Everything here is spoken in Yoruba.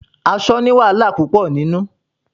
Aṣọ ni wàhálà púpò nínú.